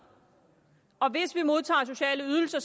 og hvis vi modtager sociale ydelser